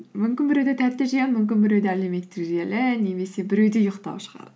мүмкін біреуде тәтті жеу мүмкін біреуде әлеуметтік желі немесе біреуде ұйықтау шығар